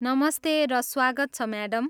नमस्ते र स्वागत छ, म्याडम।